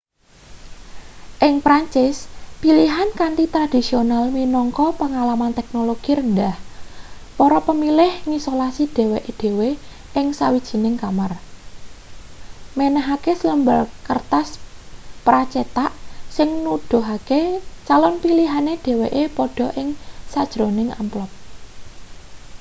ing perancis pilihan kanthi tradhisional minangka pengalaman teknologi rendhah para pemilih ngisolasi dheweke dhewe ing sawijining kamar menehake selembar kertas pra-cetak sing nuduhake calon pilihane dheweke padha ing sajroning amplop